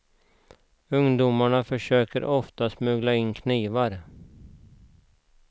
Ungdomarna försöker oftast smuggla in knivar.